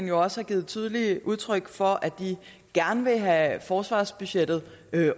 jo også givet tydeligt udtryk for at de gerne vil have forsvarsbudgettet